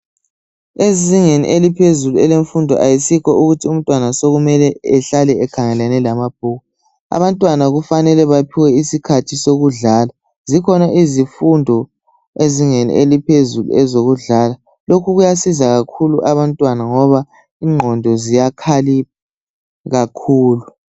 Ezingeni eliphezulu elemfundo ayisikho ukuthi umntwana sokumele ehlale ekhangelane lamabhuku abantwana kufanele baphiwe isikhathi sokudlala zikhona izifundo ezingeni eliphezulu ezokudlala lokhu kuyasiza kakhulu abantwana ngoba ingqondo ziyakhalipha kakhulu.